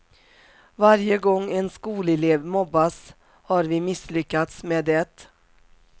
Varje gång en skolelev mobbas har vi misslyckats med det.